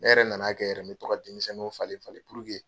Ne yɛrɛ na na kɛ yɛrɛ n bɛ to ka denmisɛnninw falen falen puruke